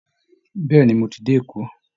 Bẹ́ẹ̀ ni, mo ti dé Èkó